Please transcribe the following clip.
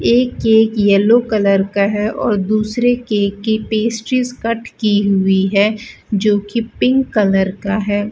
एक cake yellow colour का है और दूसरे केक की पेस्ट्रीस कट की हुई है जोकि पिंक कलर का है।